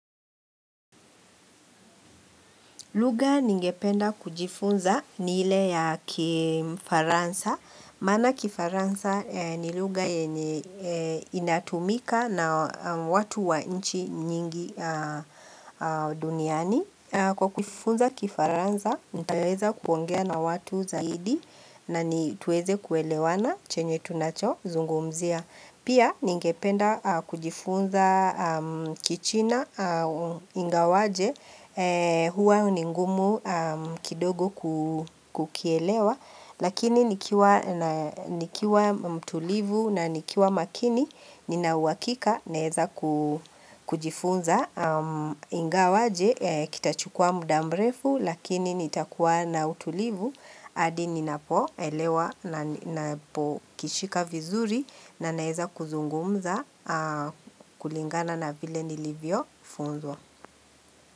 Lugha ningependa kujifunza ni ile ya kifaransa. Maana kifaransa ni lugha yenye inatumika na watu wa nchi nyingi duniani. Kwa kujifunza kifaransa, nitaweza kuongea na watu zaidi na ni, tuweze kuelewana chenye tunachozungumzia. Pia ningependa kujifunza kichina ingawaje huwa ni ngumu kidogo kukielewa. Lakini nikiwa mtulivu na nikiwa makini nina uhakika naeza kujifunza. Ingawaje kitachukua muda mrefu lakini nitakuwa na utulivu hadi ninapoelewa na napokishika vizuri na naeza kuzungumza kulingana na vile nilivyofunzwa.